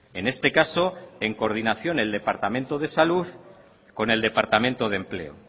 en este caso en coordinación el departamento de salud con el departamento de empleo